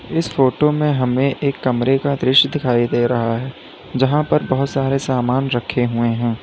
इस फोटो में हमें एक कमरे का दृश्य दिखाई दे रहा है जहां पर बहुत सारे सामान रखे हुए हैं।